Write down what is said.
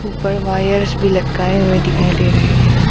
ऊपर वायर्श भी लटकाए हुए दिखाई दे रहे हैं।